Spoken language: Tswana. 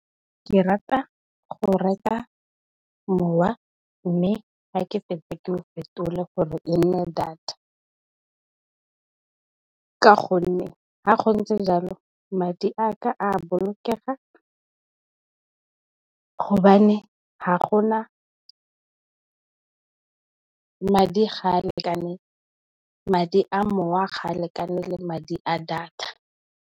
Ke rata go reka mowa mme, ga ke fetsa ke o fetole gore e nne data ka gonne, ga go ntse jalo madi a ka, a bolokega gobane madi a mowa ga a lekane le madi a data.